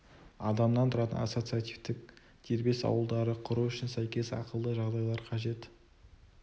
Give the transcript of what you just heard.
адамнан тұратын ассоциативтік дербес ауылдарды құру үшін сәйкес ақылды жағдайлар қажет